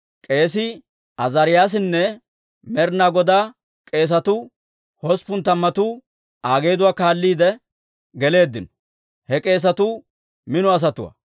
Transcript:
K'eesii Azaariyaasinne Med'inaa Godaa k'eesatuu hosppun tammatuu Aa geeduwaa kaalliide geleeddino; he k'eesatuu mino asatuwaa.